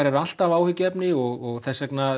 eru alltaf áhyggjuefni og þess vegna